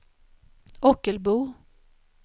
Ockelbo